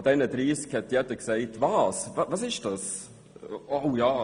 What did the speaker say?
Von diesen 30 Firmen fragte jeder, was das genau sei. «